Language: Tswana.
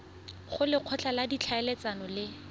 go lekgotla la ditlhaeletsano le